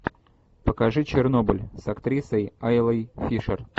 покажи чернобыль с актрисой айлой фишер